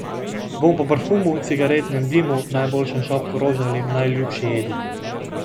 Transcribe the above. Vonj po parfumu, cigaretnem dimu, najljubšem šopku rož ali najljubši jedi.